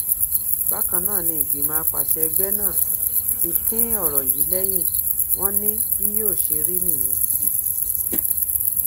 bákan náà ni ìgbìmọ àpasẹ ẹgbẹ náà ti kín ọrọ yìí lẹyìn wọn ni bí yóò ṣe rí nìyẹn